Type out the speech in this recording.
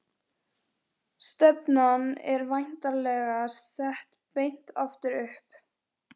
Stefnan er væntanlega sett beint aftur upp?